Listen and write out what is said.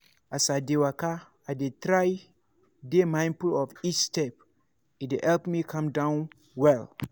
i dey waka with full mind — and i dey feel say i dey part of this world pass.